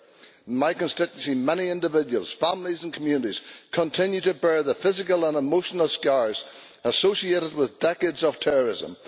In my constituency, many individuals, families and communities continue to bear the physical and emotional scars associated with decades of terrorism.